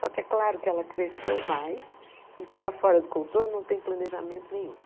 Só que é claro que ela cresceu mais e para fora do Contorno não tem planejamento nenhum.